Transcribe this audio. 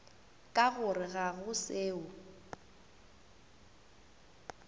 ka gore ga go seo